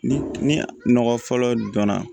Ni ni nɔgɔ fɔlɔ donna